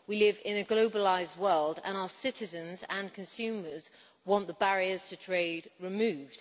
We live in a globalised world and our citizens and consumers want the barriers to trade removed.